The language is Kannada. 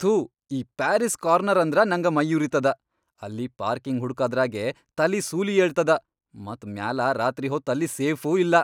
ಥೂ ಈ ಪ್ಯಾರಿಸ್ ಕಾರ್ನರ್ ಅಂದ್ರ ನಂಗ ಮೈಯುರಿತದ. ಅಲ್ಲಿ ಪಾರ್ಕಿಂಗ್ ಹುಡಕದ್ರಾಗೇ ತಲಿ ಸೂಲಿ ಏಳ್ತದ ಮತ್ ಮ್ಯಾಲ ರಾತ್ರಿ ಹೊತ್ ಅಲ್ಲಿ ಸೇಫೂ ಇಲ್ಲಾ.